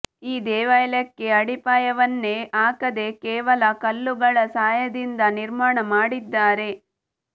ಈ ದೇವಾಲಯಕ್ಕೆ ಅಡಿಪಾಯವನ್ನೇ ಹಾಕದೇ ಕೇವಲ ಕಲ್ಲುಗಳ ಸಹಾಯದಿಂದ ನಿರ್ಮಾಣ ಮಾಡಿದ್ದಾರೆ